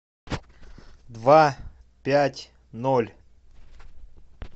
два пять ноль